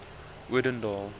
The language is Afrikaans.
odendaal